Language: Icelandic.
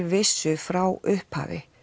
vissu frá upphafi